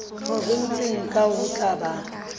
provenseng kang ho tla ba